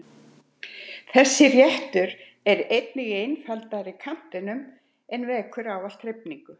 Þessi réttur er einnig í einfaldari kantinum en vekur ávallt hrifningu.